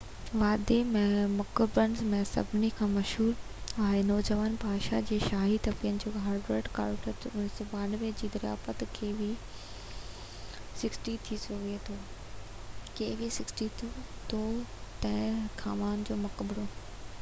Tutankhamun جو مقبرو kv62. ٿي سگهي ٿو kv62 وادي ۾ مقبرن ۾ سڀني کان مشهور آهي. نوجوان بادشاه جي شاهي تدفين جي هاورڊ ڪارٽر 1922 جي دريافت